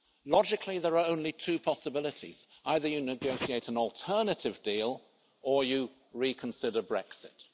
Logically, there are only two possibilities either you negotiate an alternative deal or you reconsider Brexit.